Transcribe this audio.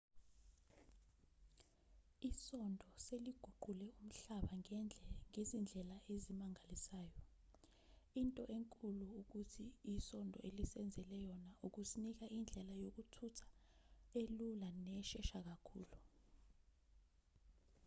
isondo seliguqule umhlaba ngezindlela ezimangalisayo into enkulu ukuthi isondo elisenzele yona ukusinika indlela yokuthutha elula neshesha kakhulu